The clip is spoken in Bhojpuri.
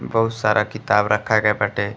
बहुत सारा किताब रखा गए बाटे।